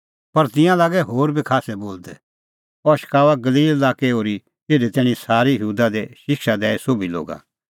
पर तिंयां लागै होर बी खास्सै बोलदै अह शकाऊआ गलील लाक्कै ओर्ही इधी तैणीं सारी यहूदा दी शिक्षा दैई सोभी लोगा